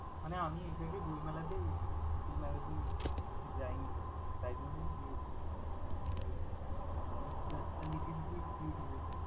মানে আমি exactly বইমেলাতেই গেছি, little magazine যাইনি কখনো তাই জন্যই তোকে জিজ্ঞেস করলাম like it's like a little bit curious। ।